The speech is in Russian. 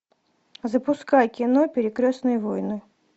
запускай кино перекрестные войны